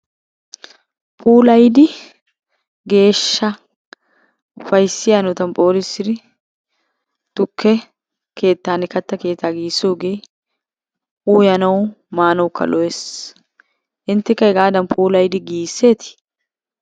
Puulayidi geeshsha ufayssiya hanotan phoolissidi tukke keettanne katta keettaa giigissoogee uyanawu maanawukka lo'es. Inttekka hegaadan puulayidi giigisseetii?